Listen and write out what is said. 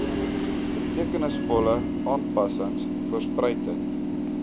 betekenisvolle aanpassings voorspruitend